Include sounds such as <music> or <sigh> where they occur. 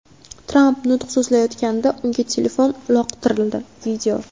Tramp nutq so‘zlayotganda unga telefon uloqtirildi. <video>